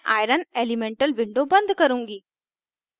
मैं iron fe elemental window बंद करुँगी